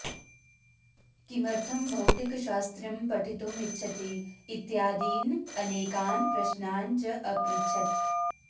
किमर्थं भौतिकशास्त्रं पठितुम् इच्छति इत्यादीन् अनेकान् प्रश्नान् च अपृच्छत्